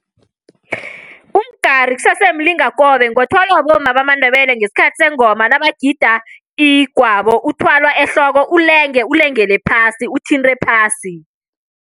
Umgari kusese mlingakobe ngothwalwa bomma bamaNdebele ngesikhathi sengoma nabagida igwabo uthwalwa ehloko, ulenge ulengele phasi, uthinte phasi.